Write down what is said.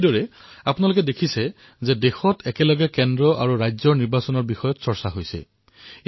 এইদৰেই আপোনালোকে দেখিছে যে দেশত একেসময়তে কেন্দ্ৰ আৰু ৰাজ্যৰ নিৰ্বাচন প্ৰক্ৰিয়া সম্পন্ন কৰাৰ চৰ্চা কৰা হৈছে